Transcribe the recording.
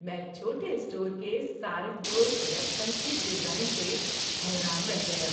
میں چھوٹے اسٹور کے صارف دوست ویب سائٹ کے ڈیزائن سے حیران رہ گیا۔